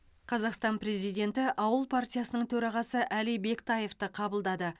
қазақстан президенті ауыл партиясының төрағасы әли бектаевты қабылдады